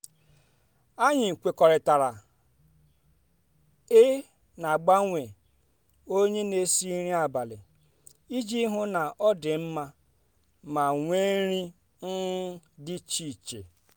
anyị kwekọrịtara i n'agbanwe onye n'esi nri abalị iji hụ na ọ dị mma ma nwee nri um dị iche iche